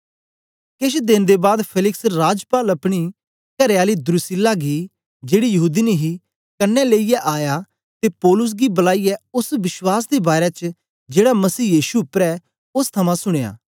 केछ देन दे बाद फेलिक्स राजपाल अपनी करेआली द्रुसिल्ला गी जेड़ी यहूदीनी ही कन्ने लेईयै आया ते पौलुस गी बलाईयै ओस विश्वास दे बारै च जेड़ा मसीह यीशु उपर ऐ ओस थमां सुनया